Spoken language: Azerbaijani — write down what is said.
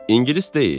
İngilis deyil?